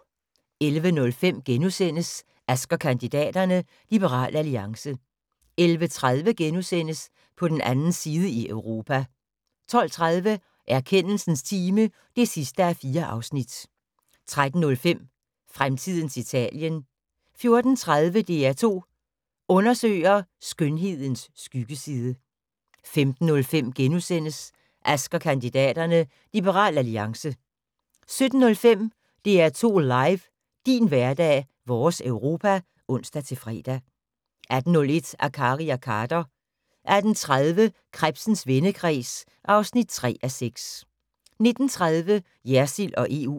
11:05: Ask & kandidaterne: Liberal Alliance * 11:30: På den 2. side i Europa * 12:30: Erkendelsens time (4:4) 13:05: Fremtidens Italien 14:30: DR2 Undersøger: Skønhedens skyggeside 15:05: Ask & kandidaterne: Liberal Alliance * 17:05: DR2 LIVE: Din hverdag - vores Europa (ons-fre) 18:01: Akkari og Khader 18:30: Krebsens vendekreds (3:6) 19:30: Jersild og EU